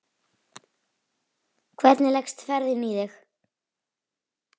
Hvernig leggst ferðin í þig?